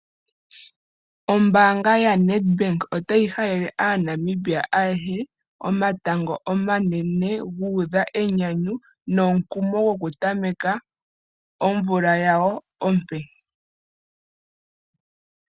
Ombaanga yaNEDBANK otayi halele aaNamibia ayehe, omatango omanene, guudha enyanyu, nomukumo gwoku tameka omvula yawo ompe